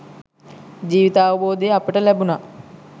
ජීවිතාවබෝධය අපට ලැබුනා.